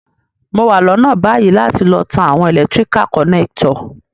Mo wa lónà bayi láti lo tan àwon electrical connector